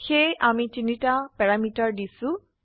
সেয়ে আমি তিনটা প্যাৰামিটাৰ দিছো